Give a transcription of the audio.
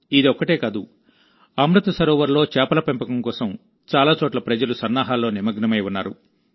ఇదొక్కటే కాదుఅమృత్ సరోవర్లో చేపల పెంపకం కోసం చాలా చోట్ల ప్రజలు సన్నాహాల్లో నిమగ్నమై ఉన్నారు